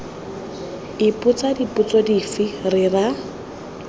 ipotsa dipotso dife ra re